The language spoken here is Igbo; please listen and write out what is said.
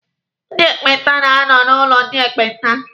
Ndị ekpenta na-anọ n'ụlọ ndị ekpenta.